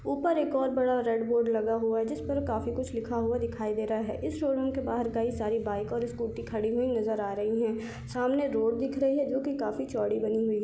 ऊपर एक और बड़ा रेड बोर्ड लगा हुआ है जिस पर काफी कुछ लिखा हुआ दिखाई दे रहा है इस शोरूम के बहार कई सारी बाइक और स्कूटी खड़ी हुई नज़र आ रही है सामने रोड दिख रही है जो की काफी चौड़ी बनी हुई है।